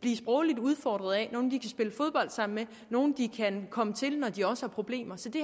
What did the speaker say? blive sprogligt udfordret af nogle de kan spille fodbold sammen med nogle de kan komme til når de har problemer så det